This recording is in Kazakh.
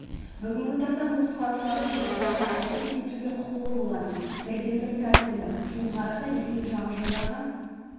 бүгінгі таңда бұл құтқарушылардың тұрғындарға әрекет етуге құқылы болатын бірден-бір тәсілі жуық арада ресми жағажайларға